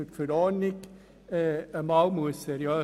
Die Verordnung muss einmal seriös geprüft werden.